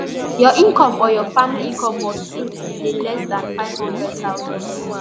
your income or your family income must to to dey less dan nfive hundred thousand